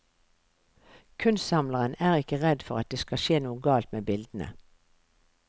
Kunstsamleren er ikke redd for at det skal skje noe galt med bildene.